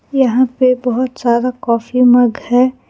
यहां पे बहोत सारा कॉफी मग है।